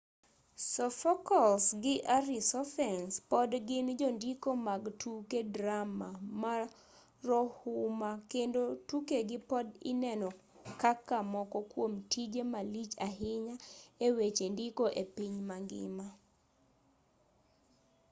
sophocles gi arisophanes pod gin jondiko mag tuke drama marohuma kendo tukegi pod ineno kaka moko kuom tije malich ahinya e weche ndiko e piny mangima